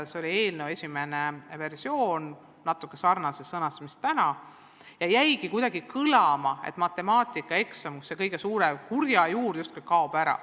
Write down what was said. See oli eelnõu esimene versioon, natuke sarnases sõnastuses mis tänagi, ja sellest jäi kuidagi kõlama, et matemaatikaeksam, see kõige suurem kurja juur, justkui kaob ära.